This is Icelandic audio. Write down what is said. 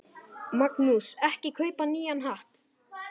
Magnús: Ekki kaupa nýjan hatt?